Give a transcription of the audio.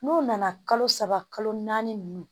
N'u nana kalo saba kalo naani ninnu